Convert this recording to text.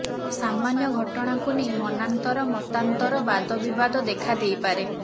ସାମାନ୍ୟ ଘଟଣାକୁ ନେଇ ମନାନ୍ତର ମତାନ୍ତର ବାଦବିବାଦ ଦେଖା ଦେଇପାରେ